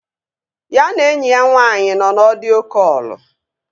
Ya na enyi ya nwaanyị nọ na ọdio kọlụ